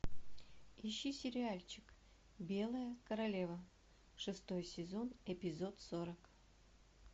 ищи сериальчик белая королева шестой сезон эпизод сорок